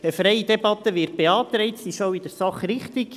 Eine freie Debatte wird beantragt, sie ist in der Sache auch richtig.